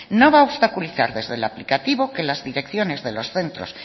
no va a obstaculizar desde el aplicativo que las direcciones de los centros